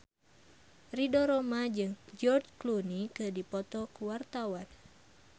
Ridho Roma jeung George Clooney keur dipoto ku wartawan